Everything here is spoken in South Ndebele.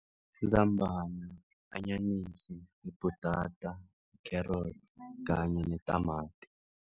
Izambana, i-anyanisi, yibhutata, yikherodi kanye netamati.